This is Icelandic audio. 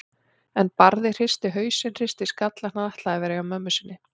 En Barði hristi hausinn, hristi skallann, hann ætlaði að vera hjá mömmu sinni.